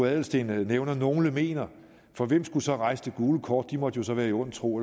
adelsteen nævner at nogle mener for hvem skulle så rejse det gule kort de måtte jo så være i ond tro